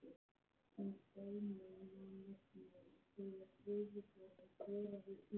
Sem dæmi má nefna að þegar Gufuborinn boraði í